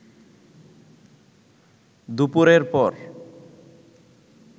দুপুরের পর